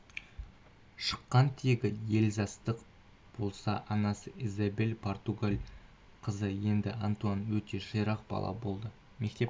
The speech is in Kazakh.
шыққан тегі эльзастық болса анасы изабель португал қызы еді антуан өте ширақ бала болды мектеп